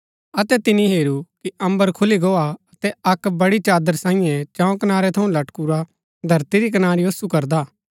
अतै तिनी हेरू कि अम्बर खुली गो हा अतै अक्क बड़ी चादर सांईये चंऊ कनारै थऊँ लटकुरा धरती री कनारी ओसु करदा